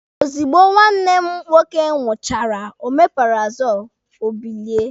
Ozugbo nwanne m nwoke ṅụchara omeparazoolu, o bilie.